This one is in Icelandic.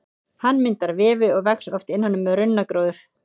Hann myndar vefi og vex oft innan um runnagróður.